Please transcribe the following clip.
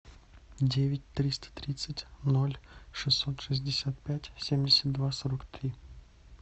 девять триста тридцать ноль шестьсот шестьдесят пять семьдесят два сорок три